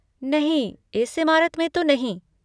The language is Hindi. नहीं, इस इमारत में तो नहीं।